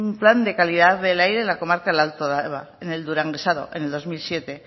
plan de calidad del aire en la comarca del alto deba en el duranguesado en el dos mil siete